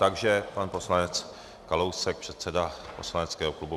Takže pan poslanec Kalousek, předseda poslaneckého klubu.